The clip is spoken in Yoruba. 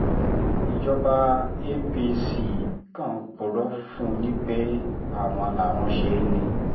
ìjọba apc kan ń purọ́ fún yín pé àwọn làwọn ṣe é ni